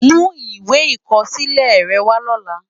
Mú iwé ikòsilè rè wá lòlá